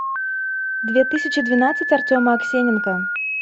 две тысячи двенадцать артема аксененко